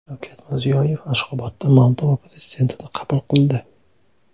Shavkat Mirziyoyev Ashxobodda Moldova prezidentini qabul qildi.